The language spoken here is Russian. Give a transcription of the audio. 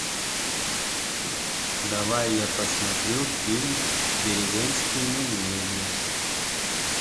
давай я посмотрю фильм деревенские медведи